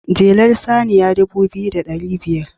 jelar saniya dubu biyu da dari biyar